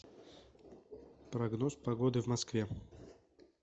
прогноз погоды в москве